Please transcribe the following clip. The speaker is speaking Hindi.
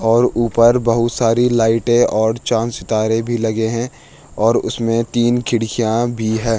और ऊपर बहोत सारे लाइटे और चाँद-सितारे भी लगे हैं और उसमें तीन खिड़कियाँ भी हैं।